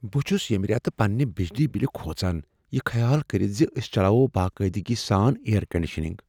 بہٕ چھس ییٚمہ ریتہٕ پننہ بجلی بل کھوژان، یہ خیال کرتھ ز أسۍ چلوو باقاعدگی سان ایئر کنڈیشنگ ۔